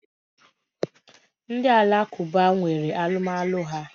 Ndi alakụba nwere alụmalụ ha.